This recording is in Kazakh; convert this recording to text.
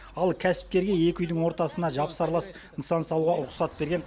ал кәсіпкерге екі үйдің ортасына жапсарлас нысан салуға рұқсат берген